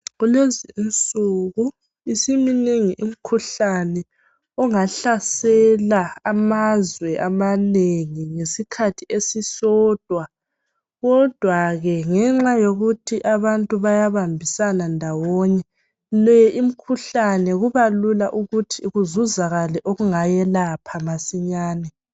Kulezi insuku isiminengi imikhuhlane ongahlasela amazwe amanengi ngesikhathi esisodwa kodwa ke ngenxa yokuthi abantu bayabambisana ndawonye ,le imikhuhlane kuba lula ukuthi kuzuzakale okungayelapha masinyane.